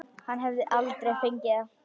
Hann hefði aldrei fengið það.